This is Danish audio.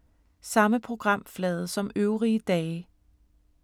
Samme programflade som øvrige dage